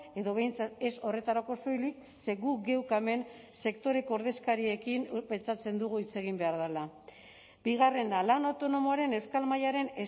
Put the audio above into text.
edo behintzat ez horretarako soilik ze gu geuk hemen sektoreko ordezkariekin pentsatzen dugu hitz egin behar dela bigarrena lan autonomoaren euskal mailaren